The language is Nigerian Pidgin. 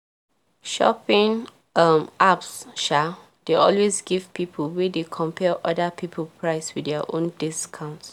shopping um apps um dey always give people wey dey compare other people price with dia own discount